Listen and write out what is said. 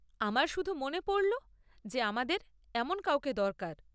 আমার শুধু মনে পড়ল যে আমাদের এমন কাউকে দরকার।